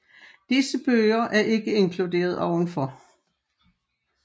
Disse bøger er ikke inkluderet ovenfor